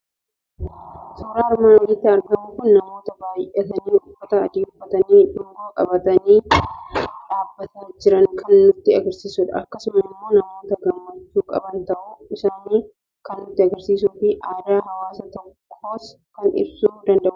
Suuraan armaan olitti argamu kun, namoota baay'atani uffata adii uffatanii, dungoo qabatanii dhaabbataa jiran kan nutti agarsiisudha. Akkasumas immoo namoota gammachuu qaban ta'uu isaani kan nutti agarsiisufi aadaa hawaasa tokkos kan ibsuu danda'udha.